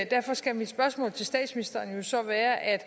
derfor skal mit spørgsmål til statsministeren jo så være at